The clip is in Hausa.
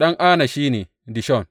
Ɗan Ana shi ne, Dishon.